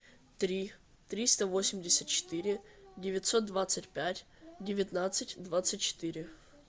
три триста восемьдесят четыре девятьсот двадцать пять девятнадцать двадцать четыре